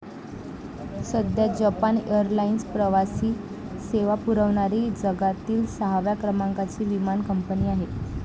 सध्या Japan airlines प्रवासी सेवा पुरवणारी जगातिल सहाव्या क्रमांकाची विमान कंपनी आहे.